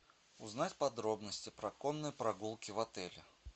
узнать подробности про конные прогулки в отеле